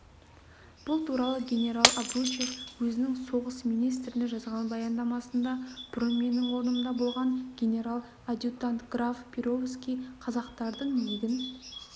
бұл туралы генерал обручев өзінің соғыс министріне жазған баяндамасында бұрын менің орнымда болған генерал-адъютант граф перовский қазақтардың егін